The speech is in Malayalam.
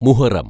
മുഹറം